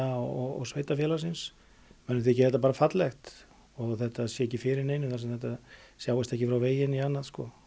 og sveitarfélagsins mönnum þykir þetta bara fallegt og að þetta sé ekki fyrir neinum þar sem þetta sjáist ekki frá vegi né annað